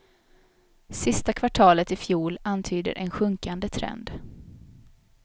Sista kvartalet i fjol antyder en sjunkande trend.